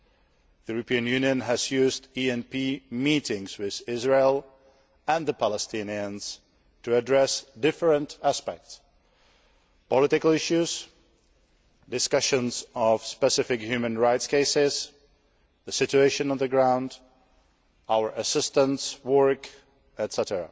The European Union has used ENP meetings with Israel and the Palestinians to address different aspects political issues, discussions of specific human rights cases, the situation on the ground, our assistance work, etc.